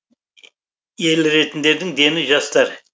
еліретіндердің дені жастар